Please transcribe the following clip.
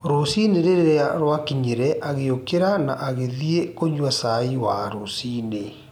Rũcinĩ rĩrĩa rwakinyire agĩũkĩra na agĩthiĩ kũnyua cai wa rũcinĩ